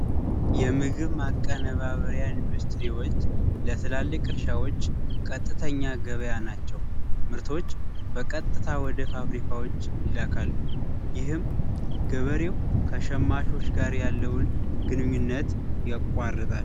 የምግብ ማቀነባበሪያ ኢንዱስትሪዎች ለትላልቅ እርሻዎች ቀጥተኛ ገበያ ናቸው። ምርቶች በቀጥታ ወደ ፋብሪካዎች ይላካሉ ይህም ገበሬው ከሸማቾች ጋር ያለውን ግንኙነት ያቋረጣሉ።